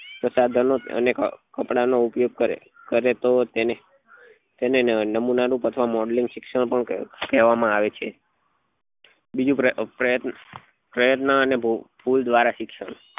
પ્રસાધનો અને કપડા નું ઉપયોગ કરે કરે તો તેને નમુના નું અને modelling શિક્ષણ પણ કહેવા માં આવે છે બીજું પ્રયત્ન અને ભૂલ દ્વારા શિક્ષણ